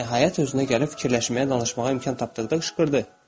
Nəhayət özünə gəlib fikirləşməyə, danışmağa imkan tapdıqda qışqırdı.